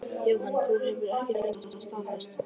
Jóhann: Þú hefur ekki fengið það staðfest?